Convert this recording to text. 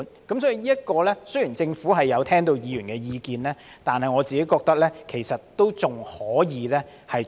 這方面，雖然政府已聆聽議員的意見，但我認為還可以多做一點。